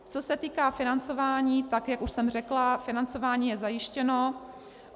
Co se týká financování, tak jak už jsem řekla, financování je zajištěno.